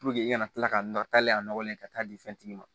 i kana kila ka nɔgɔ ta ale nɔgɔlen ka taa di fɛntigi ma